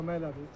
Kömək elədiniz?